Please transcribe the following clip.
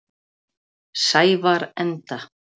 Sævarenda